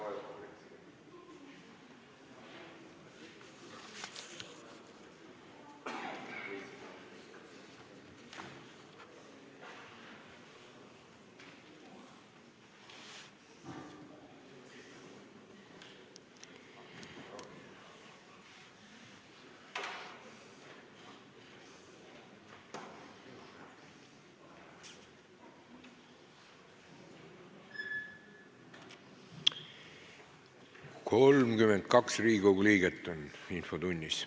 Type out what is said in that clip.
Kohaloleku kontroll 32 Riigikogu liiget on infotunnis.